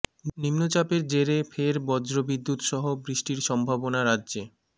নিম্নচাপের জেরে ফের বজ্র বিদ্যুৎ সহ বৃষ্টির সম্ভাবনা রাজ্যে